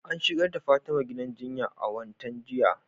An shigar da Fatima gidan jinya a wattan jinya